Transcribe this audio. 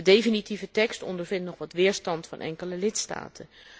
De definitieve tekst ondervindt nog wat weerstand van enkele lidstaten.